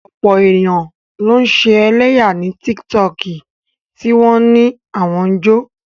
Ọ̀pọ̀ èèyàn ló ń ṣe ẹlẹ́yà ní tíkítọọ̀kì tí wọ́n á ní àwọn ń jó